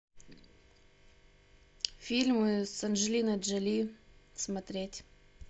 фильмы с анджелиной джоли смотреть